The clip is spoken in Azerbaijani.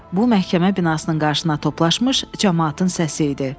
Bu məhkəmə binasının qarşısına toplaşmış camaatın səsi idi.